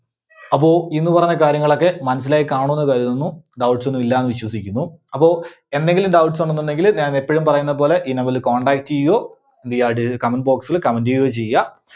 അപ്പോ ഇന്ന് പറഞ്ഞ കാര്യങ്ങളൊക്കെ മനസ്സിലായി കാണുമെന്ന് കരുതുന്നു. doubts ന്നുമില്ല എന്ന് വിശ്വസിക്കുന്നു. അപ്പോ എന്തെങ്കിലും doubts ഉണ്ടെന്നുണ്ടെങ്കില് ഞാൻ എപ്പഴും പറയുന്നപോലെ ഈ number ല് contact ചെയ്യുകയോ comment box ല് comment ചെയ്യുകയോ ചെയ്യുക.